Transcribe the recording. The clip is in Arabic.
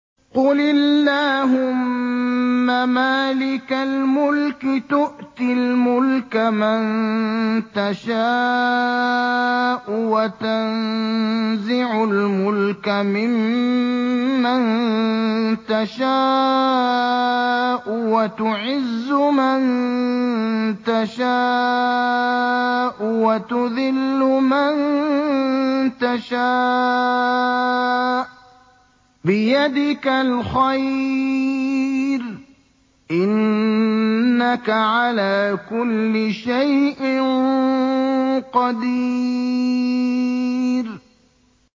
قُلِ اللَّهُمَّ مَالِكَ الْمُلْكِ تُؤْتِي الْمُلْكَ مَن تَشَاءُ وَتَنزِعُ الْمُلْكَ مِمَّن تَشَاءُ وَتُعِزُّ مَن تَشَاءُ وَتُذِلُّ مَن تَشَاءُ ۖ بِيَدِكَ الْخَيْرُ ۖ إِنَّكَ عَلَىٰ كُلِّ شَيْءٍ قَدِيرٌ